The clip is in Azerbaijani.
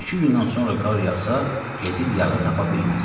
Bir-iki gündən sonra qar yağsa, gedib yağı tapa bilməz.